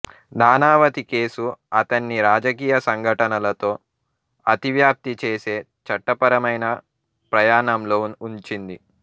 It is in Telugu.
నానావతి కేసు అతన్ని రాజకీయాలు సంఘటనలతో అతివ్యాప్తి చేసే చట్టపరమైన ప్రయాణంలో ఉంచింది